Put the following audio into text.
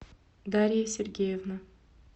дарья сергеевна